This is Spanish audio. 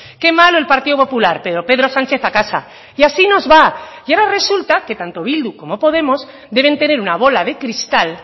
que malo el partido popular pero pedro sánchez a casa y así nos va y ahora resulta que tanto bildu como podemos deben tener una bola de cristal